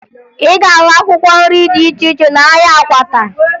Ị ga-ahụ akwụkwọ nri dị iche iche n'ahịa Akwata